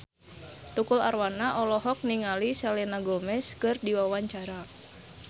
Tukul Arwana olohok ningali Selena Gomez keur diwawancara